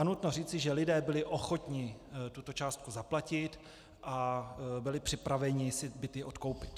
A nutno říci, že lidé byli ochotni tuto částku zaplatit a byli připraveni si byty odkoupit.